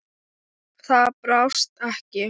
Það brást ekki.